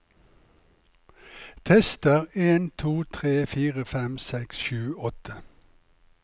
Tester en to tre fire fem seks sju åtte